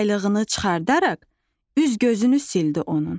Yaylığını çıxardaraq, üz-gözünü sildi onun.